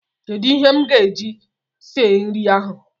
Kedụ ihe m ga-eji sie nri ahụ?.